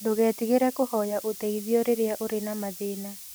Ndũgetigĩre kũhoya ũteithio rĩrĩa ũrĩ na mathĩna.